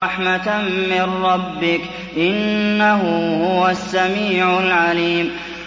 رَحْمَةً مِّن رَّبِّكَ ۚ إِنَّهُ هُوَ السَّمِيعُ الْعَلِيمُ